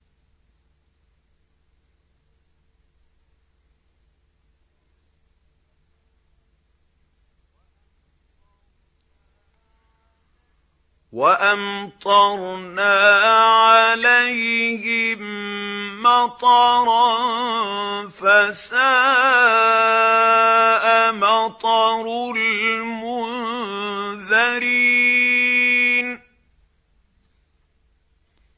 وَأَمْطَرْنَا عَلَيْهِم مَّطَرًا ۖ فَسَاءَ مَطَرُ الْمُنذَرِينَ